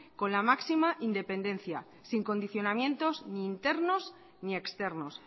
con la máxima independencia sin condicionamientos ni internos ni externos